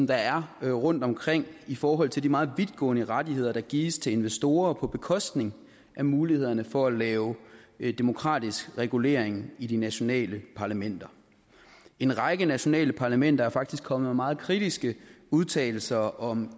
der er rundtomkring i forhold til de meget vidtgående rettigheder der gives til investorer på bekostning af mulighederne for at lave demokratisk regulering i de nationale parlamenter en række nationale parlamenter er faktisk kommet med meget kritiske udtalelser om